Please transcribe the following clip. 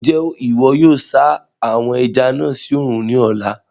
Njẹ iwọ yóò sa àwon ẹja náà sí oòrùn ní ọ̀la?